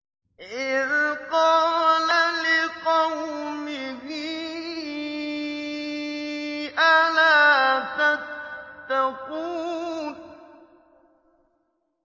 إِذْ قَالَ لِقَوْمِهِ أَلَا تَتَّقُونَ